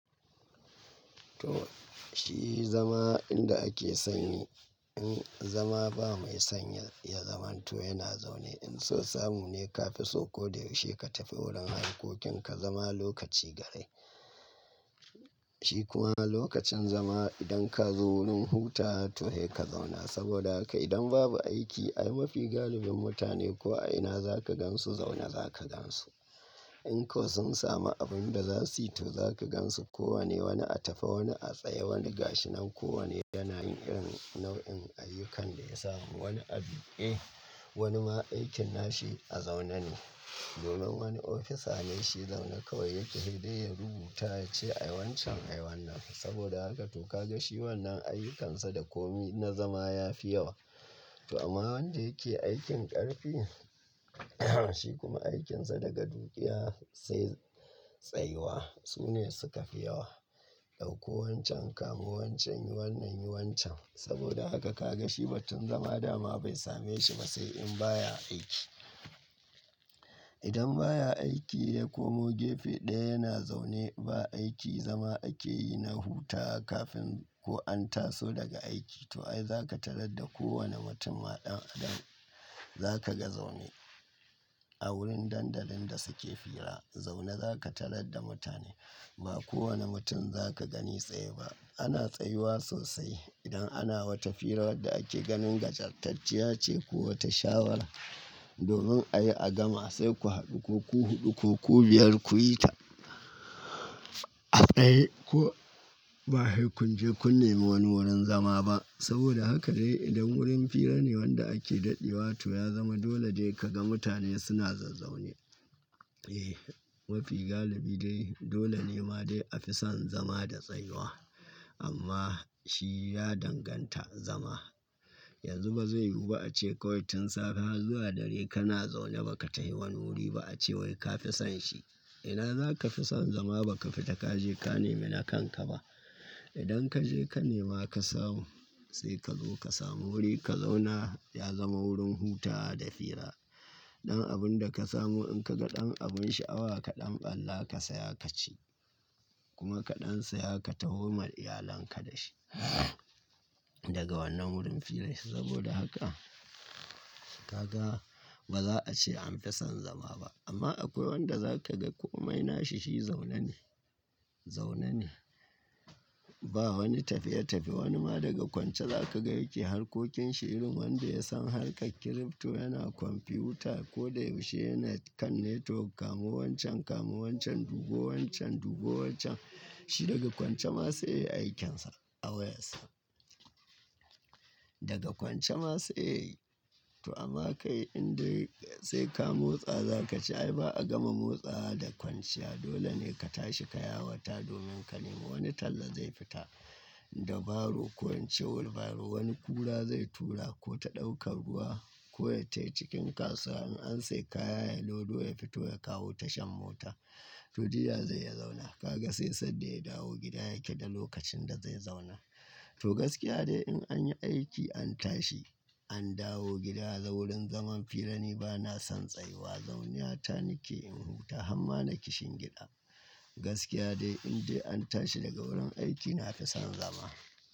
To shi zama inda ake sanyi, in zama ba mai sanyi ya zamanto yana zaune. In so samu ne ka fi so ko da yaushe ka tafi wurin harkokin ka zama lokaci garai. Shi kuwa lokacin zama idan ka zo wurin hutawa to sai ka zauna. Saboda haka idan babu aiki, ai mafi galibin mutane ko a ina za ka gansu zaune za ka gansu. In ko sun samu abin da za su yi to za ka gansu kowane wani a tafi wani a tsaye wani gashinan kowane yana yin irin nau'in ayyukan da ya samu. Wani a duqe wani ma aikin nashi a zaune ne. Domin wani ofisa ne shi zauna kawai yake hidai ya rubuta yace ai wancan ayi wannan. Saboda haka to ka ga shi wannan ayyukansa da komi na zama ya fi yawa. To amma wanda yake aikin ƙarfi shi kuma aikinsa daga tafiya sai tsayuwa. Su ne suka fi yawa. Ɗauko wancan, kamu wancan, yi wannan, yi wancan. Saboda haka ka ga shi batun zama dama bai same shi ba sai in baya aiki. Idan baya aiki zai ko mu gefe ɗaya yana zaune ba aiki zama ake yi na hutawa kafin ko an taso daga aiki. To ai za ka tarar da kowane mutunma dan adam za ka ga zaune a wurin dandalin da suke fira. Zaune za ka tarar da mutane. Ba kowane mutum za ka gani tsaye ba. Ana tsayuwa sosai idan ana wata fira wadda ake ganin gajartacciya ce ko wata shawara. Domin ayi a gama sai ku haɗu ku uku, ku huɗu, ku biyar kuyi ta. A tsaye ko ba he kun je kun nemi wani wurin zama ba. Saboda haka dai idan wurin fira ne wanda ake ɗaɗewa to ya zama dole dai ka ga mutane suna zazzaune. Eh mafi galibi dai dole ne ma dai a fi son zama da tsayuwa. Amma shi ya danganta a zama. Yanzu ba zai yiwu ba a ce kawai tun safe har zuwa dare kana zaune ba ka tafi wani wuri ba a ce wai ka fi son shi. Ina za ka fi son zama ba ka fita ka je ka nemi na kanka ba? Idan ka je ka nema ka samu sai ka zo ka samu wuri ka zauna ya zama wurin hutawa da fira. Ɗan abun da ka samu in ka ga ɗan abun sha'awa kaɗan ɓalla ka saya ka ci. Kuma kaɗan saya ka taho ma iyalanka da shi. Daga wannan wurin fira saboda haka ka ga ba za a ce an fi son zama ba. Amma akwai wanda za ka ga komai nashi shi zaune ne. Zaune ne. Ba wani tafiye-tafiye. Wani ma daga kwanciya za ka gai yake harkokin shi irin wanda ya san harkar crypto yana kwamfiyuta ko da yaushe yana kan network kamu wancan, kamu wancan, dubo wancan, dubo wancan. Shi daga kwanciya ma sai aikin sa a wayassa Daga kwanciya ma sai. To amma kai indai sai ka motsa za ka ci ai ba a gama motsawa da kwanciya. Dole ne ka tashi ka yawata domin ka nema wani talla zai fita da baro ko ince wheelbarrow wani kura zai tura ko ta ɗaukar ruwa ko yatai cikin kasuwa. In an sai kaya ya lodo ya fito ya kawo tashan mota. To jiya zai ya zauna. Ka ga sai sanda ya dawo gida yake da lokacin da zai zauna. To gaskiya dai in an yi aiki an tashi an dawo gida dai wurin zaman fira ne ba na son tsayuwa. Zaune ya ta nike in huta amma nake shingen gida. Gaskiya dai indai an tashi daga wurin aiki na fi son zama.